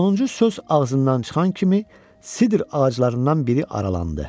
Sonuncu söz ağzından çıxan kimi sidr ağaclarından biri aralandı.